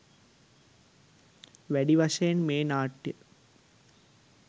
වැඩි වශයෙන් මේ නාට්‍ය